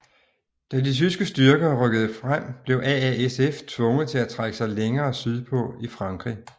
Da de tyske styrker rykkede frem blev AASF tvunget til at trække sig længere sydpå i Frankrig